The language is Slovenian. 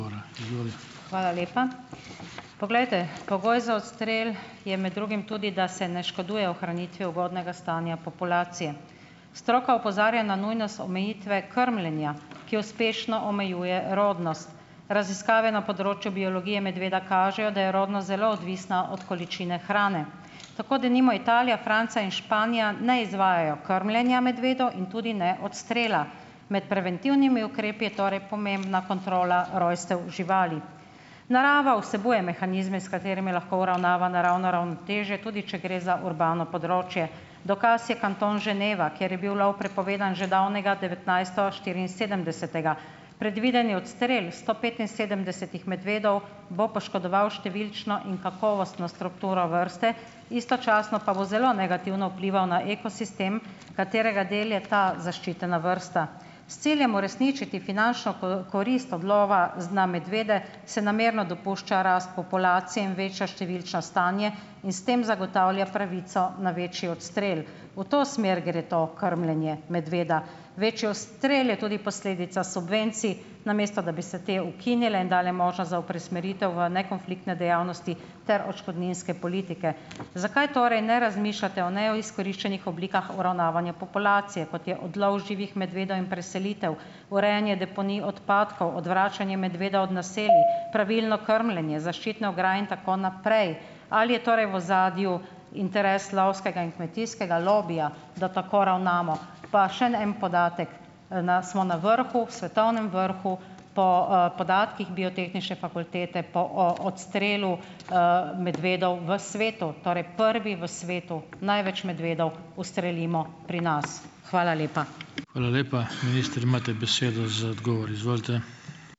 Hvala lepa. Poglejte, pogoj za odstrel je med drugim tudi, da se ne škoduje ohranitvi ugodnega stanja populacije. Stroka opozarja na nujnost omejitve krmljenja, ki uspešno omejuje rodnost. Raziskave na področju biologije medveda kažejo, da je rodnost zelo odvisna od količine hrane. Tako denimo Italija, Francija in Španija ne izvajajo krmljenja in tudi ne odstrela. Med preventivnimi ukrepi je torej pomembna kontrola rojstev živali. Narava vsebuje mehanizme, s katerimi lahko uravnava naravno ravnotežje, tudi če gre za urbano področje. Dokaz je Kanton Ženeva, kjer je bil lov prepovedan že davnega devetnajststo štiriinsedemdesetega. Predvideni odstrel sto petinsedemdesetih medvedov bo poškodoval številčno in kakovostno strukturo vrste, istočasno pa bo zelo negativno vplival na ekosistem, katerega del je ta zaščitena vrsta. S ciljem uresničiti finančno korist od lova na medvede se namerno dopušča rast populacije in veča številčno stanje in s tem zagotavlja pravico na večji odstrel. V to smer gre to krmljenje medveda. Večji odstrel je tudi posledica subvencij, namesto da bi se te ukinile in dale možnost za preusmeritev v ne konfliktne dejavnosti ter odškodninske politike. Zakaj torej ne razmišljate o neizkoriščenih oblikah uravnavanja populacije, kot je odlov živih medvedov in preselitev, urejanje deponij odpadkov, odvračanje medveda od naselij, pravilno krmljenje, zaščitne ograje in tako naprej. Ali je torej v ozadju interes lovskega in kmetijskega lobija, da tako ravnamo? Pa šen en podatek. na smo na vrhu, svetovnem vrhu po, podatkih biotehniške fakultete po odstrelu, medvedov v svetu, torej prvi v svetu, največ medvedov ustrelimo pri nas. Hvala lepa.